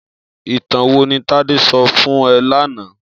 Itàn wó ni Tade sò fún è làná?